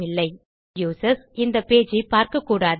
இப்போது யூசர்ஸ் இந்த பேஜ் ஐ பார்க்கக்கூடாது